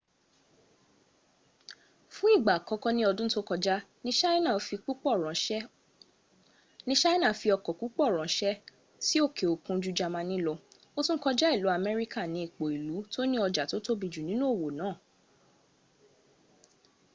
fún ìgbà àkọ́kọ́ ní ọdún tó kọjá ní ṣina fí ọkọ̀ púpọ̀ ránṣẹ́ sí òkè òkun jú jamani lọ o tún kọjá ilu amerika ni ipò ilu tó ní ọjà tó tóbi jù nínú òwò náà